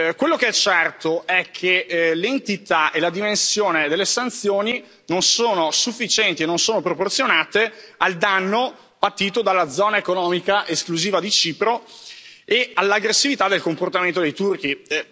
Quello che è certo è che l'entità e la dimensione delle sanzioni non sono sufficienti e non sono proporzionate al danno patito dalla zona economica esclusiva di Cipro e all'aggressività del comportamento dei turchi.